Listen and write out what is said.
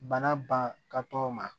Bana ban ka tɔgɔ ma